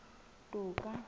toka